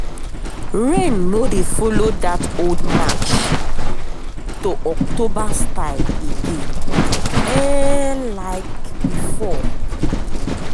rain no dey follow that old march um to october style again like um before.